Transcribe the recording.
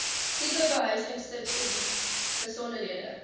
tipe behuisingsubsidie besonderhede